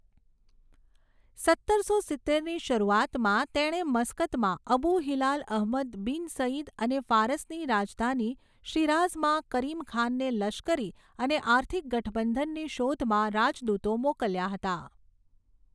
સત્તરસો સિત્તેરની શરૂઆતમાં તેણે મસ્કતમાં Abu Hilal Ahmad bin Said અને ફારસની રાજધાની શિરાઝમાં કરીમ ખાનને લશ્કરી અને આર્થિક ગઠબંધનની શોધમાં રાજદૂતો મોકલ્યા હતા.